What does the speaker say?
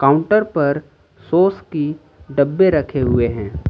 Counter पर sauce की डब्बे रखे हुए हैं।